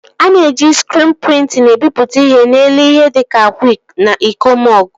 A na-eji skriin prịntịn ebipụta ihe n'elu ihe dịka akwa na iko mọgụ